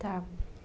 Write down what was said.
Tá.